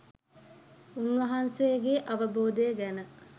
උන්වහන්සේගේ අවබෝධය ගැන